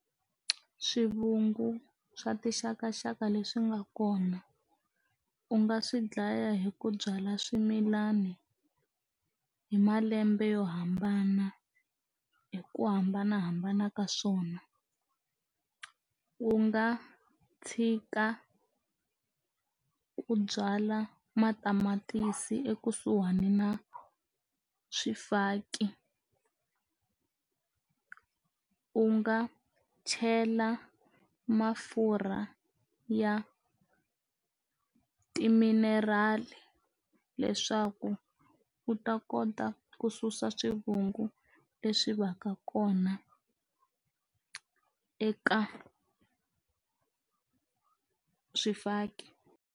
Swivungu swa tixakaxaka leswi nga kona u nga swi dlaya hi ku byala swimilani hi malembe yo hambana hi ku hambanahambana ka swona u nga tshika ku byala matamatisi ekusuhani na swifaki u nga chela mafurha ya timinerali leswaku u ta kota ku susa swivungu leswi va ka kona eka swifaki.